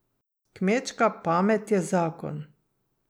Kmečka pamet je zakon.